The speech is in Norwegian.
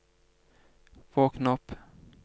våkn opp